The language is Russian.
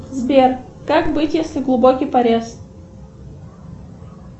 сбер как быть если глубокий порез